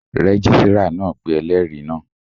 Rẹ́gísírà náà pé ẹlẹ́rìí náà